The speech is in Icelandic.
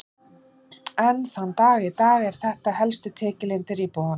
Enn þann dag í dag eru þetta helstu tekjulindir íbúanna.